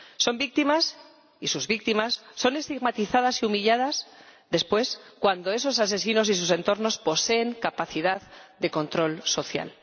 Son víctimas, y sus víctimas son estigmatizadas y humilladas después cuando esos asesinos y sus entornos poseen capacidad de control social.